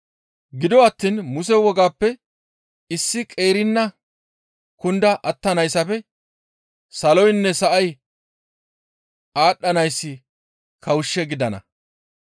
Gido attiin Muse wogappe issi qeerina kunda attanayssafe saloynne sa7ay aadhdhanayssi kawushshe gidana.